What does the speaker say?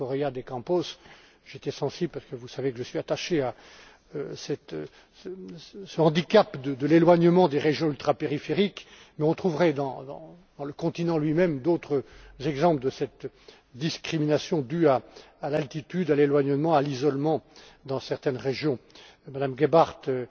Monsieur Correia de Campos, j'y ai été sensible parce que vous savez que je suis attaché à ce handicap de l'éloignement des régions ultrapériphériques, mais on trouverait, dans le continent lui même, d'autres exemples de cette discrimination due à l'altitude, à l'éloignement, à l'isolement dans certaines régions. Mme Gebhardt